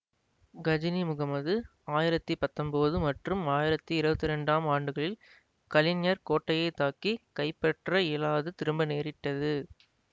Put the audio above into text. கஜினி முகமது ஆயிரத்தி பத்தொன்போது மற்றும் ஆயிரத்தி இருவத்தி இரண்டாம் ஆண்டுகளில் கலிஞ்சர் கோட்டையை தாக்கி கைப்பற்ற இயலாது திரும்ப நேரிட்டது